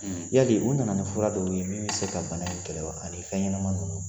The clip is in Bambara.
Yali u nana ni fura dɔw ye min bɛ se ka bana in kɛlɛ wa ani fɛnɲɛnama ninnu